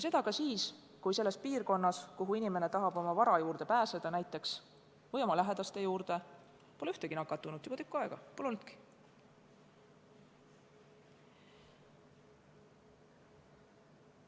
Seda ka siis, kui selles piirkonnas, kuhu inimene tahab minna, et näiteks oma vara või lähedaste juurde pääseda, pole juba tükk aega ühtegi nakatunut registreeritud, neid pole olnudki.